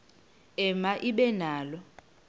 ema ibe nalo